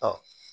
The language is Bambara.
Ɔ